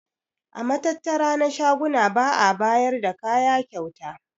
A matattara na shaguna ba'a bayar da kaya kyauta.